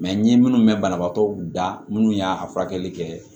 n ye minnu mɛn banabagatɔ da minnu y'a furakɛli kɛ